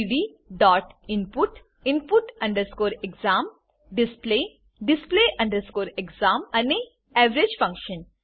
gdinput input exam display display exam અને average function